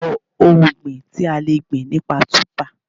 Dárúkọ ohun ọ̀gbìn tí a le gbìn nípa Túbà?